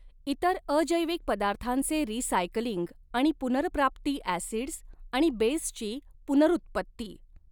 इतर अजैविक पदार्थांचे रिसायकलिंग आणि पुनर्प्राप्ती ॲसिडस् आणि बेसची पुनर्उत्पत्ती.